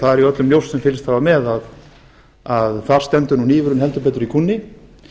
það er öllum ljóst sem fylgst hafa með að þar stendur nú hnífurinn heldur betur í kúnni